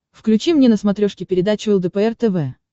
включи мне на смотрешке передачу лдпр тв